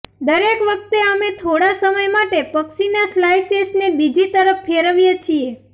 દરેક વખતે અમે થોડા સમય માટે પક્ષીના સ્લાઇસેસને બીજી તરફ ફેરવીએ છીએ